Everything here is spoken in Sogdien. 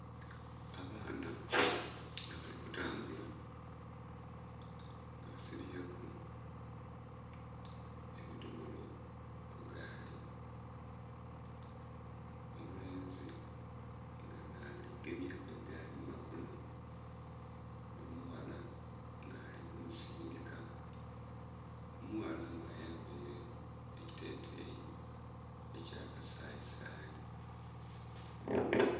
Abaana nga bali kutambula nga basibyeku ebidhomolo ku gaali, omulenzi nga nha gemyeku egaali mu makono omughala nga nhali ku musindhika. Omughala nga ayambaire ekiteteyi ekya kasayisayi.